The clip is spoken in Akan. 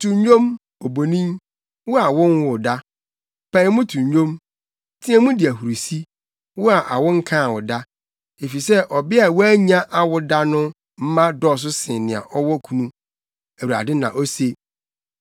“To nnwom, obonin, wo a wonwoo da; pae mu to nnwom, teɛ mu di ahurusi, wo a awo nkaa wo da; efisɛ ɔbea a wannya awo da no mma dɔɔso sen nea ɔwɔ kunu,” Awurade na ose.